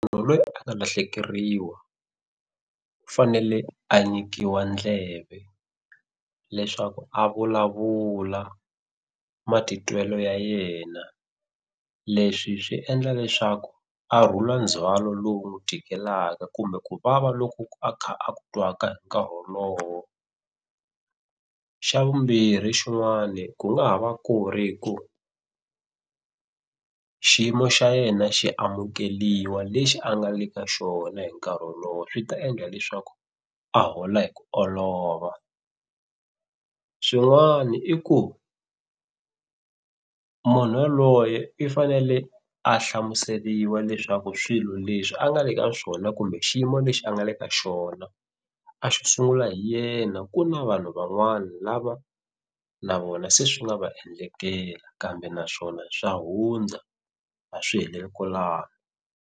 lweyi a nga lahlekeriwa u fanele a nyikiwa ndleve leswaku a vulavula matitwelo ya yena leswi swi endla leswaku a rhula ndzhwalo lowu n'wi tikelaka kumbe ku vava loku ku a kha a ku twaka hi nkarhi wolowo. Xa vumbirhi xin'wani ku nga ha va ku ri hi ku xiyimo xa yena xi amukeliwa lexi a nga le ka xona hi nkarhi wolowo swi ta endla leswaku a hola hi ku olova, swin'wani i ku munhu yaloye i fanele a hlamuseliwa leswaku swilo leswi a nga le ka swona kumbe xiyimo lexi a nga le ka xona a xo sungula hi yena ku na vanhu van'wani lava na vona se swi nga va endlekela kambe naswona swa hundza a swi heleli kwalano.